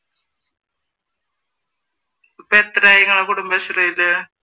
ഇപ്പൊ എത്രയായി നിങ്ങൾ കുടുംബശ്രീയിൽ